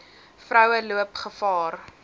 vroue loop gevaar